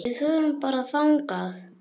Við förum bara þangað!